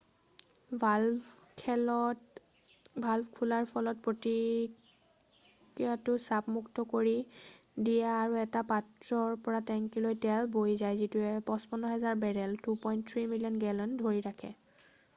Valve খোলাৰ ফলত প্ৰক্ৰিয়াটোত চাপ মুক্ত কৰি দিয়ে আৰু এটা পাত্ৰৰ পৰা টেংকীলৈ তেল বৈ যায় যিটোৱে 55,000 বেৰেল 2.3 মিলিয়ন গেলন ধৰি ৰাখে।